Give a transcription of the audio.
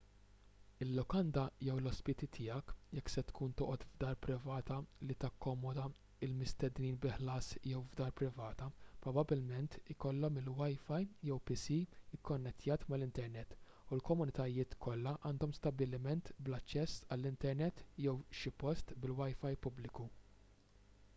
il-lukanda jew l-ospiti tiegħek jekk se tkun toqgħod f'dar privata li takkomoda l-mistednin bi ħlas jew f'dar privata probabbilment ikollhom il-wifi jew pc ikkonnettjat mal-internet u l-komunitajiet kollha għandhom stabbiliment bl-aċċess għall-internet jew xi post bil-wifi pubbliku